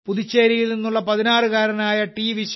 പുതുച്ചേരിയിൽ നിന്നുള്ള 16 കാരനായ ടി